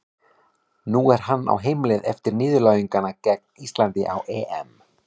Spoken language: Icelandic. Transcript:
Nú er hann á heimleið eftir niðurlæginguna gegn Íslandi á EM.